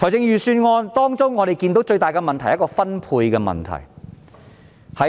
預算案最大的問題是分配問題。